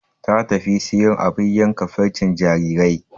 Ta tafi siyo abin yankan farcen jarirai